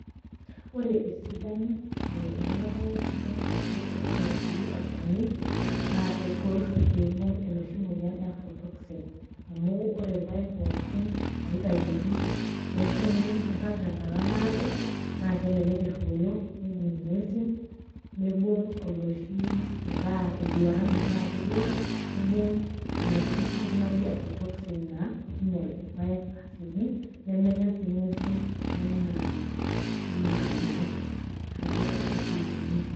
Ore esidano e kulo paek nidolta ajo eton etii olchani naake egol piibung' enoshi moyian e aflotoxin amu ore irpaek pookin loitayuoki neshumi, niirag tenkata naado naake elelek eruoyo, nejing' ng'uesin nibung' oloshi metaa enduaran metaa kedua nibung' enoshi toki naji aflotoxin naa kiinyal irpaek asioki nemenya sii ng'uesi enaa enaa nderok, neeku neija ikununo.